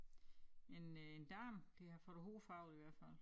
En øh en dame der har fået æ hår farvet i hvert fald